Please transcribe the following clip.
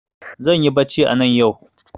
Zanyi bacci anan yau